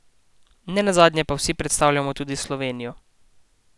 Ne nazadnje pa vsi predstavljamo tudi Slovenijo.